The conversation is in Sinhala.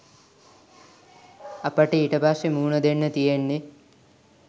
අපට ඊට පස්සේ මුහුණ දෙන්න තියෙන්නේ